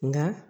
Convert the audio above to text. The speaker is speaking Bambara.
Nka